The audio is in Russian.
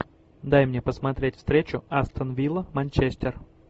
дай мне посмотреть встречу астон вилла манчестер